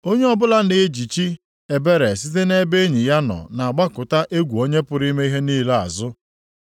“Onye ọbụla nʼejichi ebere site nʼebe enyi ya nọ na-agbakụta egwu Onye pụrụ ime ihe niile azụ.